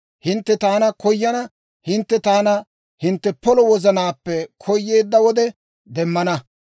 Hintte taana koyana; hintte taana hintte polo wozanaappe koyeedda wode demmana.